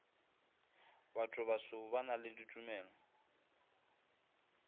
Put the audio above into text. bathobaso ba na le ditumelo